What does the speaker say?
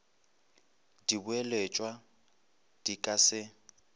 di boeletšwa di ka se